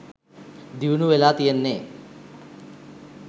දියුණු වෙලා තියෙන්නේ